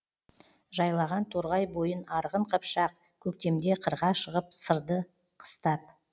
жайлаған торғай бойын арғын қыпшақ көктемде қырға шығып сырды қыстап